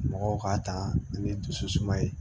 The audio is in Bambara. Mɔgɔw k'a ta ni dusu suma ye